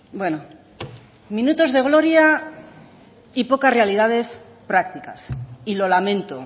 bueno minutos de gloria y pocas realidades prácticas y lo lamento